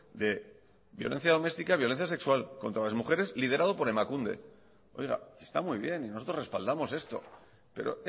de violencia doméstica violencia sexual contra las mujeres liderado por emakunde oiga está muy bien y nosotros respaldamos esto pero